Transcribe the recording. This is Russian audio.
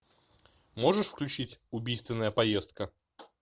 можешь включить убийственная поездка